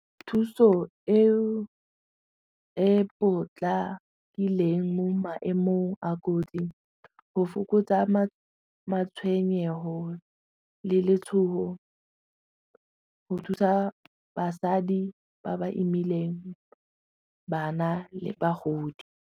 Thuso eo e potlakileng mo maemong a kotsi go fokotsa matshwenyego le letshogo go thusa basadi ba ba imileng bana le bagodi.